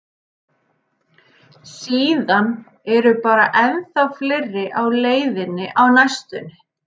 Síðan eru bara ennþá fleiri á leiðinni á næstunni.